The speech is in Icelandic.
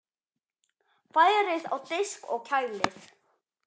Færið á disk og kælið.